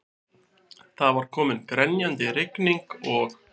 Það var komin grenjandi rigning og